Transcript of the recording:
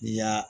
N'i y'a